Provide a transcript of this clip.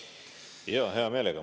Jaa, hea meelega.